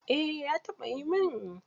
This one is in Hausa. Eh ya taɓayi min.